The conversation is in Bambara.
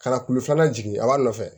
Ka na kulu filanan jigin a b'a nɔfɛ